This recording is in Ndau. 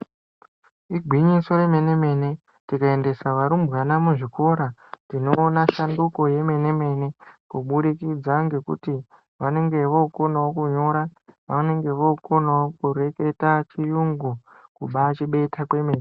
Igwinyiso remene-mene tikaendesa vana muzvikora tinoona shanduko yemene-mene kuburikidza ngekuti vanenge vookonawo kunyora, vanenge vookonawo kureketa chiyungu, kumbaachibeta kwemwene.